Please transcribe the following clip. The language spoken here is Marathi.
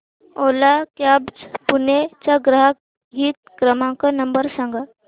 ओला कॅब्झ पुणे चा ग्राहक हित क्रमांक नंबर सांगा